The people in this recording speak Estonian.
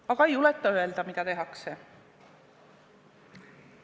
Aga ei julgeta öelda, mida tehakse.